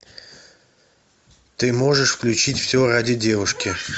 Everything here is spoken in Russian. ты можешь включить все ради девушки